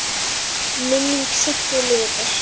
Minning Siggu lifir.